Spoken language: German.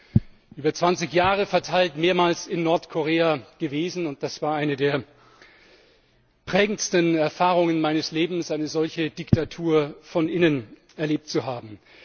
Ich bin über 20 Jahre verteilt mehrmals in Nordkorea gewesen, und das war eine der prägendsten Erfahrungen meines Lebens, eine solche Diktatur von innen erlebt zu haben.